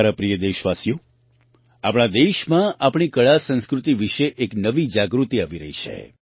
મારા પ્રિય દેશવાસીઓ આપણા દેશમાં આપણી કળાસંસ્કૃતિ વિશે એક નવી જાગૃતિ આવી રહી છે